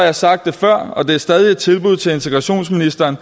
har sagt det før og det er stadig et tilbud til integrationsministeren